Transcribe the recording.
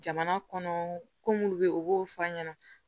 Jamana kɔnɔ ko munnu be yen u b'o fɔ an ɲɛna